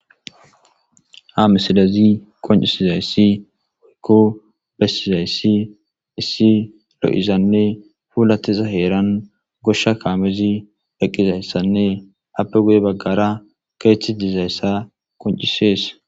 Ha misilezi qonccissizayssi kko lo7izayssi issi lo7izanne puulaththiza heeran goshsha kaamethi eqqizayssanne appe guye baggaara keeththidizayssa qonccissees.